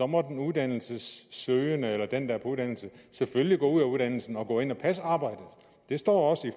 må den uddannelsessøgende eller den der er på uddannelse selvfølgelig gå ud af uddannelsen og gå ind og passe arbejdet det står